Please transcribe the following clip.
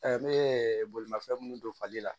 ne ye bolimafɛn minnu don fali la